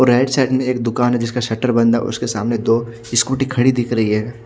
औ right side में एक दुकान है जिसका शटर बंद है उसके सामने दो स्कूटी खड़ी दिख रही है।